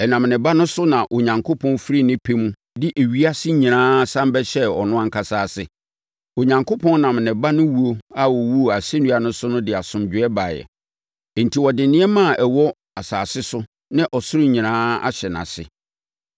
Ɛnam ne Ba no so na Onyankopɔn firi ne pɛ mu de ewiase nyinaa sane bɛhyɛɛ ɔno ankasa ase. Onyankopɔn nam ne Ba no wu a ɔwuu asɛnnua so no de asomdwoeɛ baeɛ, enti ɔde nneɛma a ɛwɔ asase so ne ɔsoro nyinaa ahyɛ nʼase.